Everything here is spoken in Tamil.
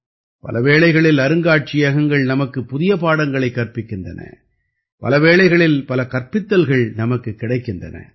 பல வேளைகளில் அருங்காட்சியகங்கள் நமக்கு புதிய பாடங்களைக் கற்பிக்கின்றன பல வேளைகளில் பல கற்பித்தல்கள் நமக்குக் கிடைக்கின்றன